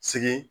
Sigi